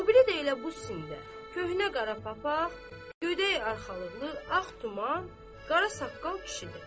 O biri də elə bu sində, köhnə qara papaq, gödək arxalıqlı, ağ duman, qara saqqal kişidir.